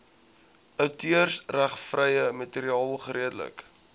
outeursregvrye materiaal geredelik